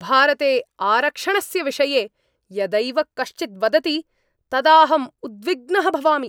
भारते आरक्षणस्य विषये यदैव कश्चित् वदति तदाहं उद्विग्नः भवामि।